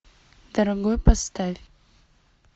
дорогой поставь